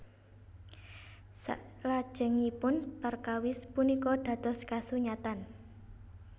Saklajengipun perkawis punika dados kasunyatan